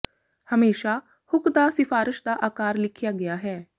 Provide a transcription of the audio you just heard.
ਹਮੇਸ਼ਾ ਹੁੱਕ ਦਾ ਸਿਫਾਰਸ਼ ਦਾ ਆਕਾਰ ਲਿਖਿਆ ਗਿਆ ਹੈ